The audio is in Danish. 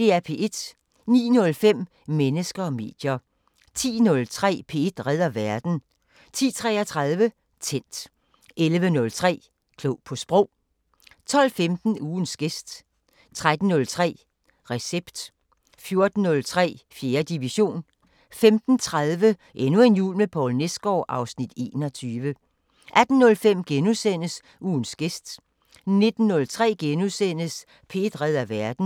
09:05: Mennesker og medier 10:03: P1 redder verden 10:33: Tændt 11:03: Klog på Sprog 12:15: Ugens gæst 13:03: Recept 14:03: 4. division 15:30: Endnu en jul med Poul Nesgaard (Afs. 21) 18:05: Ugens gæst * 19:03: P1 redder verden *